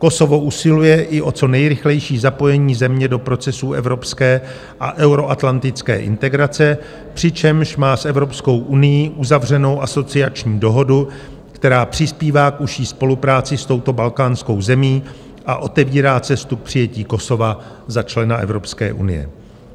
Kosovo usiluje i o co nejrychlejší zapojení země do procesů evropské a euroatlantické integrace, přičemž má s Evropskou unií uzavřenou asociační dohodu, která přispívá k užší spolupráci s touto balkánskou zemí a otevírá cestu k přijetí Kosova za člena Evropské unie.